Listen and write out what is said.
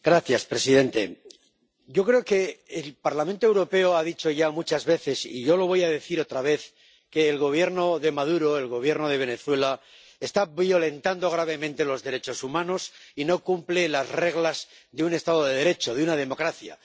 Señor presidente, yo creo que el Parlamento Europeo ha dicho ya muchas veces, y yo lo voy a decir otra vez, que el Gobierno de Maduro, el Gobierno de Venezuela, está violentando gravemente los derechos humanos y no cumple las reglas de un Estado de Derecho, de una democracia.